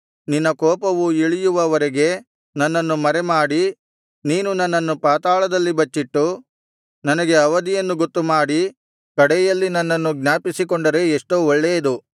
ನಿನ್ನ ಕೋಪವು ಇಳಿಯುವ ವರೆಗೆ ನನ್ನನ್ನು ಮರೆಮಾಡಿ ನೀನು ನನ್ನನ್ನು ಪಾತಾಳದಲ್ಲಿ ಬಚ್ಚಿಟ್ಟು ನನಗೆ ಅವಧಿಯನ್ನು ಗೊತ್ತುಮಾಡಿ ಕಡೆಯಲ್ಲಿ ನನ್ನನ್ನು ಜ್ಞಾಪಿಸಿಕೊಂಡರೆ ಎಷ್ಟೋ ಒಳ್ಳೇದು